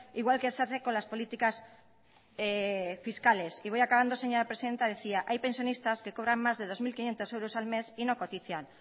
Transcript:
igual que se hace con las políticas fiscales y voy acabando señora presidenta decía hay pensionistas que cobran más de dos mil quinientos euros al mes y no cotizan